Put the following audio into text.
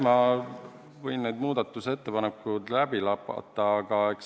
Ma võin need muudatusettepanekud läbi lapata.